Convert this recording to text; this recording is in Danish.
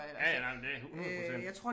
Ja ja nej men det 100%